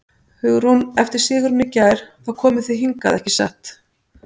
Hugrún: Eftir sigurinn í gær, þá komuð þið hingað, ekki satt?